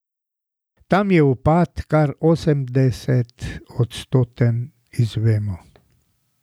Tam je upad kar osemdesetodstoten, izvemo.